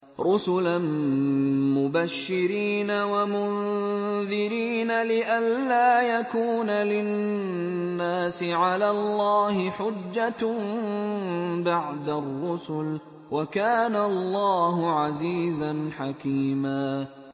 رُّسُلًا مُّبَشِّرِينَ وَمُنذِرِينَ لِئَلَّا يَكُونَ لِلنَّاسِ عَلَى اللَّهِ حُجَّةٌ بَعْدَ الرُّسُلِ ۚ وَكَانَ اللَّهُ عَزِيزًا حَكِيمًا